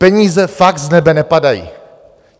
Peníze fakt z nebe nepadají.